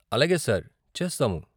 అలాగే సార్, చేస్తాము.